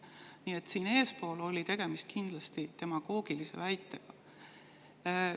Nii et siin eespool oli kindlasti tegemist demagoogilise väitega.